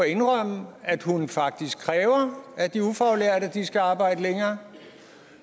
indrømme at hun faktisk kræver af de ufaglærte at de skal arbejde længere og